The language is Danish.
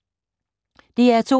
DR2